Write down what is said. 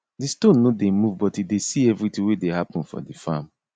di stone no dey move but e dey see everything wey dey happen for di farm